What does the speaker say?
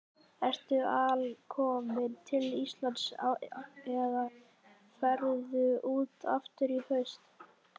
Ertu alkominn til Íslands eða ferðu út aftur í haust?